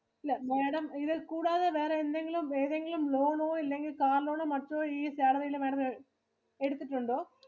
ഇല്ല Madam ഇതിൽ കൂടാതെ വേറെ എന്തെങ്കിലും ഏതെങ്കിലും loan ഓ ഇല്ലെങ്കിൽ car loan മറ്റോ ഈ salary ഈടെ Madam എടുത്തിട്ടുണ്ടോ?